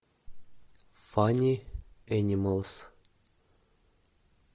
фанни энималс